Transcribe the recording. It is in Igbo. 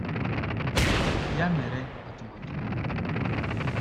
Ya mere, atụmatụ ha